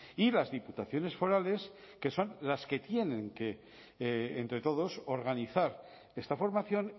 y las diputaciones forales que son las que tienen que entre todos organizar esta formación